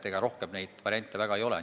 Ega rohkem neid variante väga ei ole.